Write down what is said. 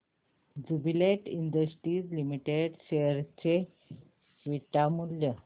Jubilant Industries Limited share चे beta मूल्य